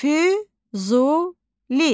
Füzuli.